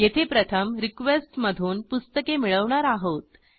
येथे प्रथम रिक्वेस्ट मधून पुस्तके मिळवणार आहोत